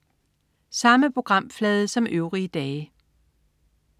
Samme programflade som øvrige dage